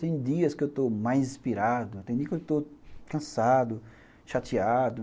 Tem dias que eu estou mais inspirado, tem dias que eu estou cansado, chateado.